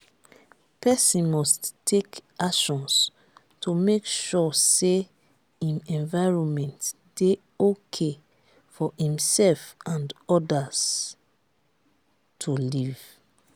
persin must take actions to make sure say im environment de okay for imself and others to live